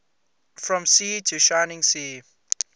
from sea to shining sea